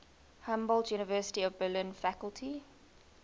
humboldt university of berlin faculty